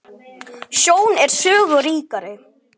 Sjón er sögu ríkari!